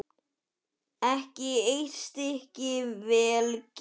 Ekki eitt stykki vel gert.